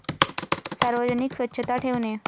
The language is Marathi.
सार्वजनिक स्वच्छता ठेवणे.